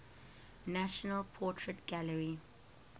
national portrait gallery